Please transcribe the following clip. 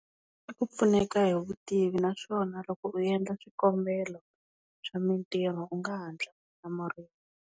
I ku pfuneka hi vutivi naswona loko u endla swikombelo swa mintirho u nga hatla u hlamuriwa.